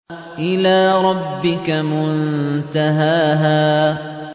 إِلَىٰ رَبِّكَ مُنتَهَاهَا